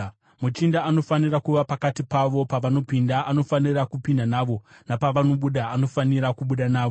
Muchinda anofanira kuva pakati pavo, pavanopinda anofanira kupinda navo, napavanobuda anofanira kubuda navo.